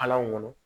Hal'an ŋɔnɔ